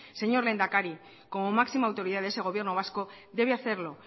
señor lehendakari como máxima autoridad de ese gobierno vasco debe hacerlo